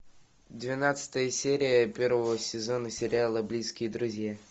двенадцатая серия первого сезона сериала близкие друзья